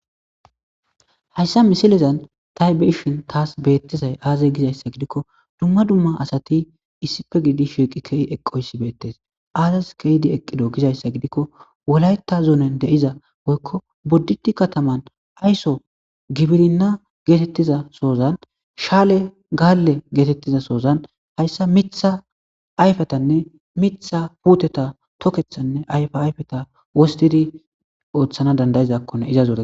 hayssa misilezan taybeshin taas beettizay aaza gizayssa gidikko dumma dumma asati issife gidi shieqi key eqqoyssi beettes aazas keydi eqqido gizayssa gidikko wolayta zuunen deiza boykko boddidi kataman ayso gibirinna geetettiza sozan shaale gaalle geetettiza sozan hayssa mitha ayfetanne mitha puuteta tokethanne ayfayfeta wostidi ooththana dandayizakkone iza zoe